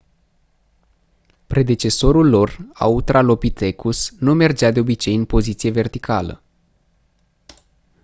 predecesorul lor autralopithecus nu mergea de obicei în poziție verticală